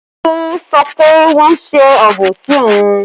Tolu sọ pé wọ́n ń ṣe àbòsí òun